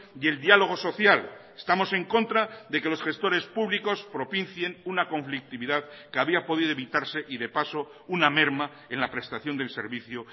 y el diálogo social estamos en contra de que los gestores públicos propicien una conflictividad que había podido evitarse y de paso una merma en la prestación del servicio